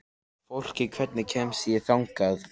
Fólki, hvernig kemst ég þangað?